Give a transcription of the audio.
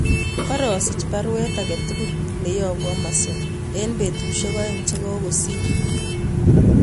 Karosich baruet age tugul neyobu Amazon en petusiek oeng chegagosir